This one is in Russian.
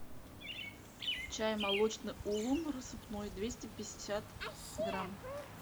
чай молочный улун рассыпной двести пятьдесят грамм